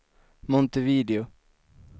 Montevideo